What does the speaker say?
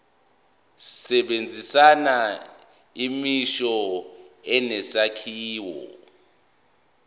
sebenzisa imisho enesakhiwo